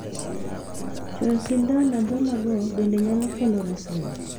Chuoyo sindan athola go bende nyalo kelo resruok.